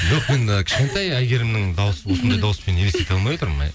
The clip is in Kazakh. жоқ мен і кішкентай әйгерімнің дауысын сондай дауыспен елестете алмай отырмын